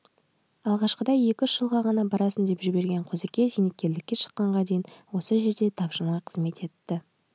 алғашқыда екі-үш жылға ғана барасың деп жіберген қозыкең зейнеткерлікке шыққанға дейін осы жерде тапжылмай қызмет етті